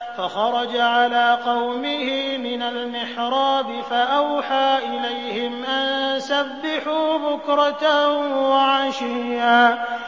فَخَرَجَ عَلَىٰ قَوْمِهِ مِنَ الْمِحْرَابِ فَأَوْحَىٰ إِلَيْهِمْ أَن سَبِّحُوا بُكْرَةً وَعَشِيًّا